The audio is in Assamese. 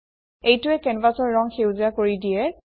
এইটোৱে কেনভাছৰ ৰং সেউজীয়া কৰি দিয়ে